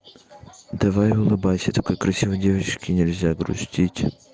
давай улыбайся такой красивой девочке нельзя грустить